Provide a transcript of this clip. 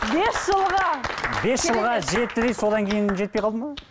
бес жылға бес жылға жетті де содан кейін жетпей қалды ма